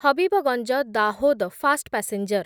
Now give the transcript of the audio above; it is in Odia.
Habibganj Dahod fast passenger